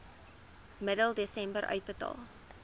middel desember uitbetaal